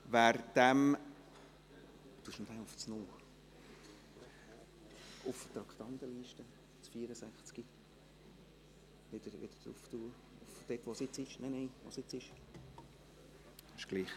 Wer diesem … Wer den Ordnungsantrag, wonach das Traktandum 64 in die Herbstsession zu verschieben sei, annehmen will, stimmt Ja, wer dies nicht will, stimmt Nein.